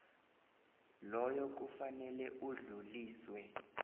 loyo kufanele udluliselwe